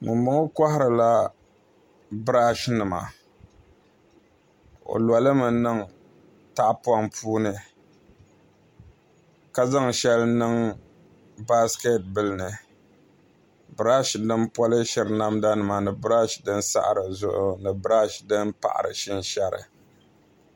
N ma ŋo koharila biraash nima o lolimi niŋ tahapoŋ puuni ka zaŋ shɛli niŋ baskɛt nim puuni birash shɛli din polishiri namda nima ni biraash din saɣari zuɣu ni biraash din pahari shinshɛri